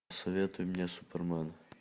посоветуй мне супермен